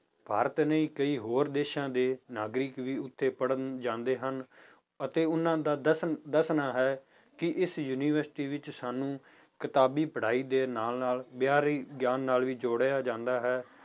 ਭਾਰਤ ਨੇ ਕਈ ਹੋਰ ਦੇਸਾਂ ਦੇ ਨਾਗਰਿਕ ਵੀ ਉੱਥੇ ਪੜ੍ਹਣ ਜਾਂਦੇ ਹਨ ਅਤੇ ਉਹਨਾਂ ਦਾ ਦੱਸਣ ਦੱਸਣਾ ਹੈ ਕਿ ਇਸ university ਵਿੱਚ ਸਾਨੂੰ ਕਿਤਾਬੀ ਪੜ੍ਹਾਈ ਦੇ ਨਾਲ ਨਾਲ ਬਾਹਰੀ ਗਿਆਨ ਨਾਲ ਵੀ ਜੋੜਿਆ ਜਾਂਦਾ ਹੈ